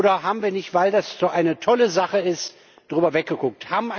Oder haben wir nicht, weil das so eine tolle Sache ist, darüber weggeguckt?